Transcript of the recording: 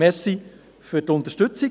Danke für die Unterstützung.